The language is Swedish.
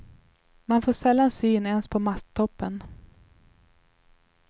Man får sällan syn ens på masttoppen.